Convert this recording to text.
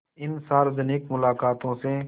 इन सार्वजनिक मुलाक़ातों से